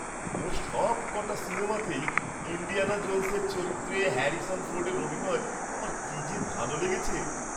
ওঁর সবক'টা সিনেমাতেই ইণ্ডিয়ানা জোন্সের চরিত্রে হ্যারিসন ফোর্ডের অভিনয় আমার কী যে ভালো লেগেছে!